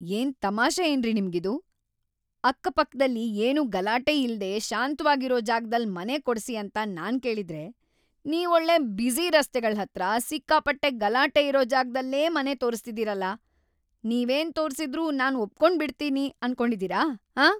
ಏನ್ ತಮಾಷೆಯೇನ್ರಿ ನಿಮ್ಗಿದು?! ಅಕ್ಕಪಕ್ದಲ್ಲಿ ಏನೂ ಗಲಾಟೆ ಇಲ್ದೇ ಶಾಂತ್ವಾಗಿರೋ ಜಾಗ್ದಲ್ಲ್ ಮನೆ ಕೊಡ್ಸಿ ಅಂತ ನಾನ್‌ ಕೇಳಿದ್ರೆ, ನೀವೊಳ್ಳೆ ಬ್ಯುಸಿ ರಸ್ತೆಗಳ್ಹತ್ರ, ಸಿಕ್ಕಾಪಟ್ಟೆ ಗಲಾಟೆ ಇರೋ ಜಾಗ್ದಲ್ಲೇ ಮನೆ ತೋರುಸ್ತಿದೀರಲ್ಲ? ನೀವೇನ್ ತೋರ್ಸಿದ್ರೂ ನಾನ್ ಒಪ್ಕೊಂಡ್‌ಬಿಡ್ತೀವಿ ಅನ್ಕೊಂಡಿದೀರ, ಆಂ?!